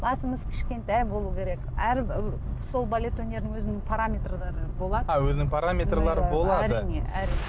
басымыз кішкентай болу керек әр ы сол балет өнерінің өзінің параметрлері болады а өзінің параметрлері болады әрине әрине